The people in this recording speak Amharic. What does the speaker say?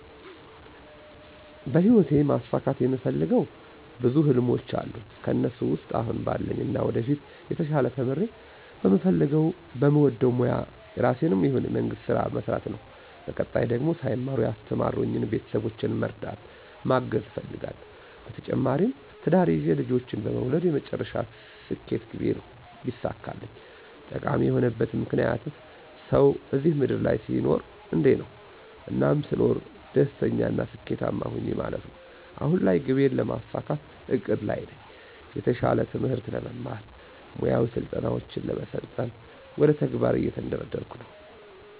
በሂወቴ ማሳካት የምፈልገው ብዙ ህልሞች አሉኝ ከእነሱ ውስጥ አሁን ባለኝና ወደፊት የተሻለ ተምሬ በምፈልገው በምወደው ሞያ የራሴንም ይሁን የመንግስት ስራ መስራት ነው በቀጣይ ደግሞ ሳይማሩ ያስተማሩኝን ቤተሰቦቼን መርዳት ማገዝ እፈልጋለሁ። በተጨማሪም ትዳር ይዤ ልጆችን መውለድ የመጨረሻ ስኬት ግቤ ነው ቢሳካልኝ። ጠቃሚ የሆነበት ምክንያት፦ ሰው እዚህ ምድር ላይ ሲኖር አንዴ ነው። እናም ስኖር ደስተኛና ስኬታማ ሆኜ ማለፍ ነው። አሁን ላይ ግቤን ለማሳካት እቅድ ላይ ነኝ። የተሻለ ትምህርት ለመማር፣ ሙያዊ ስልጠናውችን ለመሰልጠን ወደ ተግባር እየተንደረደርኩ ነው።